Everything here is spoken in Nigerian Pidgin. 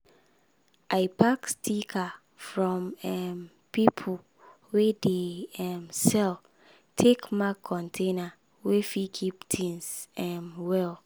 i pack sticker from um people wey dey um sell take mark container wey fit keep tings um well.